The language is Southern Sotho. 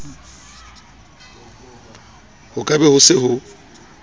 ho ka be ho se